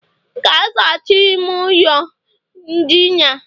Gaa zachaa ime ụlọ ndina